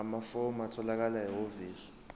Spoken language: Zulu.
amafomu atholakala ehhovisi